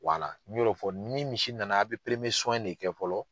Wala ne y'o fɔ: ni misi nana a' be de kɛ fɔlɔ